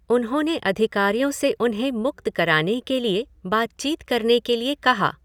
उन्होंने अधिकारियों से उन्हें मुक्त कराने के लिए बातचीत करने के लिए कहा।